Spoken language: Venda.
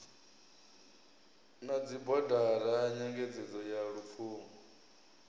na dzibodara nyengedzo ya lupfumo